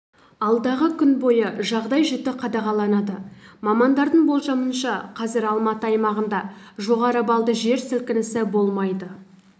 алдағы күн бойы жағдай жіті қадағаланады мамандардың болжамынша қазір алматы аймағында жоғары баллды жер сілкінісі болмайды